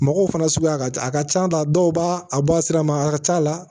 Mɔgɔw fana suguya ka ca a ka can ta dɔw b'a a bɔ a sira ma a ka c'a la